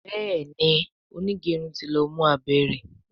Béèni onigerun tí ló mú abé rẹ.